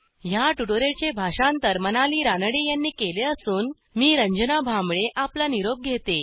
ह्या ट्युटोरियलचे भाषांतर मनाली रानडे यांनी केले असून मी रंजना भांबळे आपला निरोप घेते